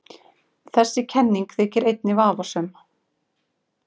Þessi kenning þykir einnig vafasöm.